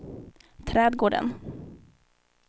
trädgården